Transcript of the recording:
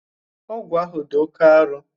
Ọgu ahụ dị oké aro